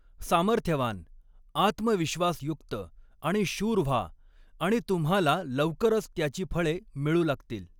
सामर्थ्यवान, आत्मविश्वासयुक्त आणि शूर व्हा आणि तुम्हाला लवकरच त्याची फळे मिळू लागतील.